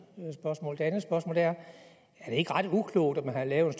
spørgsmål det andet spørgsmål er er det ikke ret uklogt at man har lavet